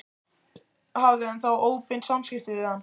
Hafði hann þá óbein samskipti við hann?